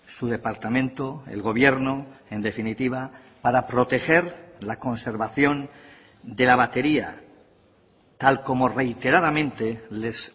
su departamento el gobierno en definitiva para proteger la conservación de la batería tal como reiteradamente les